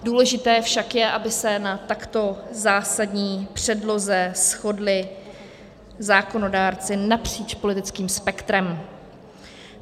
Důležité však je, aby se na takto zásadní předloze shodli zákonodárci napříč politickým spektrem.